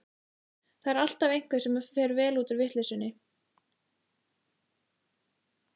Það er alltaf einhver sem fer vel út úr vitleysunni.